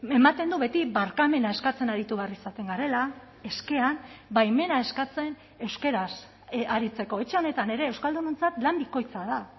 ematen du beti barkamena eskatzen aritu behar izaten garela eskean baimena eskatzen euskaraz aritzeko etxe honetan ere euskaldunontzat lan bikoitza da